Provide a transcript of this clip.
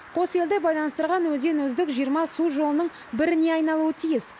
қос елді байланыстырған өзен үздік жиырма су жолының біріне айналуы тиіс